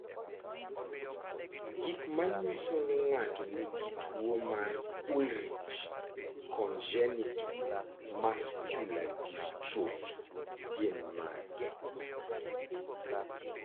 Gik manyiso ni ng'ato nigi tuwo mar Ullrich congenital muscular dystrophy gin mage?